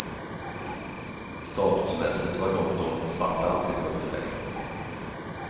Statusmässigt var dock de svarta alltid i underläge.